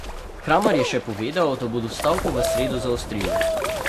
Kramar je še povedal, da bodo stavko v sredo zaostrili.